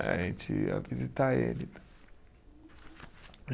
A gente ia visitar ele.